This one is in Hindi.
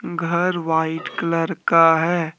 घर व्हाइट कलर का है।